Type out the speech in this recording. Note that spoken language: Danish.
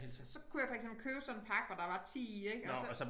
Så kunne jeg for eksempel købe sådan en pakke hvor der var 10 i ik og så